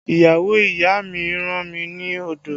Ìyàwó ìyá mi rán mi ni odò